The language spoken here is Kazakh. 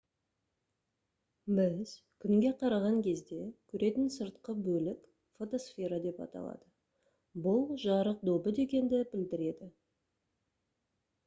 біз күнге қараған кезде көретін сыртқы бөлік фотосфера деп аталады бұл «жарық добы» дегенді білдіреді